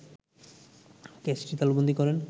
ক্যাচটি তালুবন্দী করেন